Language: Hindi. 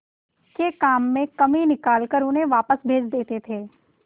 के काम में कमी निकाल कर उन्हें वापस भेज देते थे